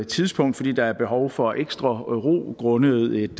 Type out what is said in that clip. tidspunkt fordi der er behov for ekstra ro grundet et